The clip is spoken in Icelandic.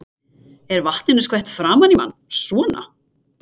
Er vatninu skvett framan í mann. svona.